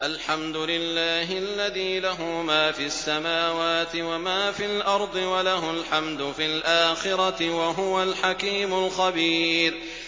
الْحَمْدُ لِلَّهِ الَّذِي لَهُ مَا فِي السَّمَاوَاتِ وَمَا فِي الْأَرْضِ وَلَهُ الْحَمْدُ فِي الْآخِرَةِ ۚ وَهُوَ الْحَكِيمُ الْخَبِيرُ